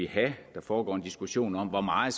have der foregår en diskussion om hvor meget